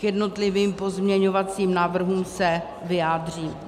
K jednotlivým pozměňovacím návrhům se vyjádřím.